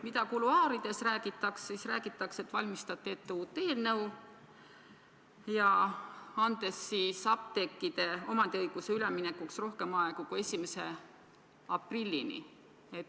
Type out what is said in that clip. Kuluaarides räägitakse, et te valmistate ette uut eelnõu, andes apteekide omandiõiguse üleminekuks rohkem aega kui 1. aprillini.